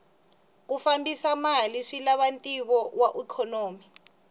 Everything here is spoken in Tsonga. ku fambisa mali swilava ntivo wa ikhonomi